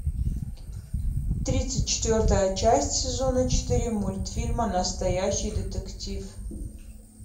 тридцать четвертая часть сезона четыре мультфильма настоящий детектив